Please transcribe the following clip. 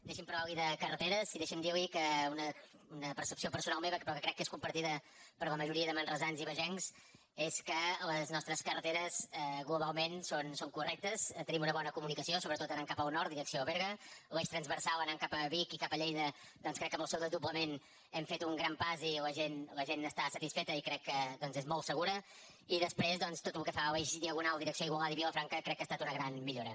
deixi’m parlar·li de carre·teres i deixi’m dir·li que una percepció personal me·va però que crec que és compartida per la majoria de manresans i bagencs és que les nostres carreteres glo·balment són correctes tenim una bona comunicació sobretot anant cap al nord direcció a berga l’eix trans·versal anant cap a vic i cap a lleida doncs crec que amb el seu desdoblament hem fet un gran pas i la gent n’està satisfeta i crec que és molt segura i després tot el que fa a l’eix diagonal direcció a igualada i vilafran·ca crec que ha estat una gran millora